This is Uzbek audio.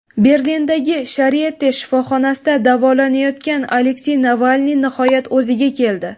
Berlindagi Sharite shifoxonasida davolanayotgan Aleksey Navalniy nihoyat o‘ziga keldi .